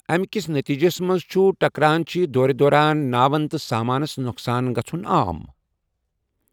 اَمہِ کِس نٔتیجَس منٛز چھُ ٹکرانٕچہِ دورِ دوران ناوَن تہٕ سامانَس نۄقصان گژھُن عام۔